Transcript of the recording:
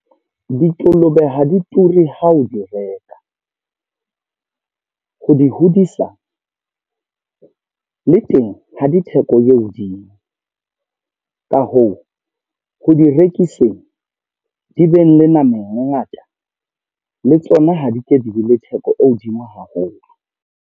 Dikolobe ha di ture ha o di reka. Ho di hodisa, le teng ha di theko e hodimo. Ka hoo, ho di rekiseng di beng le nama e ngata, le tsona ha di ke di be le theko e hodimo haholo.